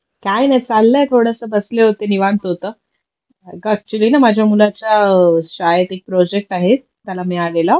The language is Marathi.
काही नाही चाललंय थोडस बसले होते निवांत होत अग ऍक्च्युली माझ्या मुलाच्या शाळेत एक प्रोजेक्ट आहे त्याला मिळालेला